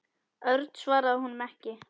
Örn svaraði honum ekki.